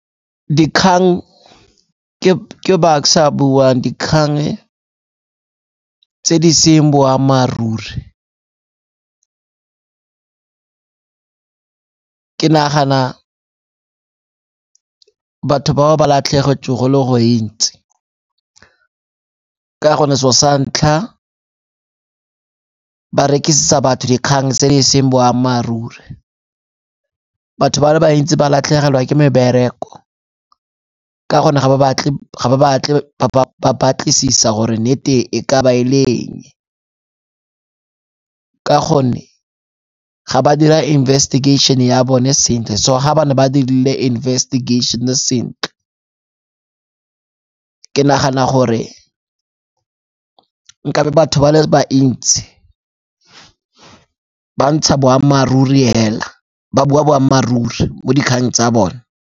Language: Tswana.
Dikgang, ke Bucks-e yo a buang. Dikgang tse di seng boammaaruri ke nagana batho bao ba latlhegetseng go le go ntsi ka gonne se'o sa ntlha, barekisetsa batho dikgang tse di seng boammaaruri. Batho ba le bantsi ba latlhegelwa ke mebereko ka gonne ga ba batle ba batlisisa gore nnete e ka ba e le eng. Ka gonne ga ba dira investigation-e ya bone sentle, so ha ne ba dirile investigation-e sentle ke nagana gore nkabe batho ba le ba ntsi ba ntsha boammaaruri hela ba bua boammaaruri mo dikgang tsa bone.